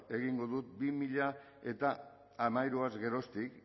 egingo du bi mila hamairuaz geroztik